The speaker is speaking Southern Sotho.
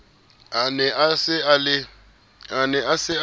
a ne a sa le